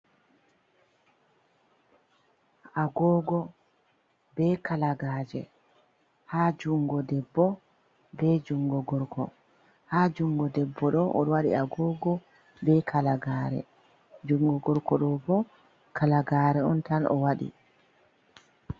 Agogo be Kalagaje, ha jungo Debbo be jungo Gorko. Ha jungo debbo do, odo wadi Agogo be Kalagare, jungo Gorko do bo, Kalagare on tan o wadi